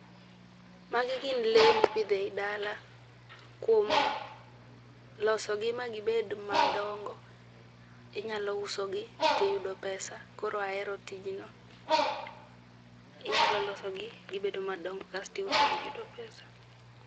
Magi gin lee mipidho ei dala, kuom losogi ma gibed madongo inyalo usogi to iyudo pesa, koro ahero tijno, inyalo losogi gibedo madongo kaito iusogi iyudo pesa